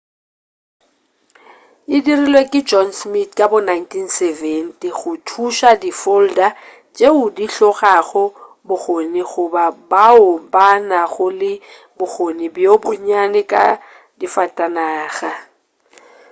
e dirilwe ke john smith ka bo 1970 go thuša di-folder tšeo di hlokago bokgoni goba bao ba nago le bokgoni bjo bonnyane ka difatanaga